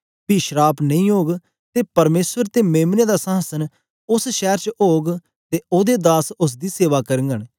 पी श्राप नेई ओग ते परमेसर ते मेम्ने दा संहासन उस्स शैर च ओग ते ओदे दास उस्स दी सेवा करघंन